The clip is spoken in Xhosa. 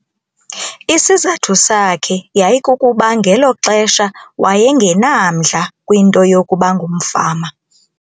Isizathu sakhe yayikukuba ngelo xesha waye ngenamdla kwinto yokuba ngumfama.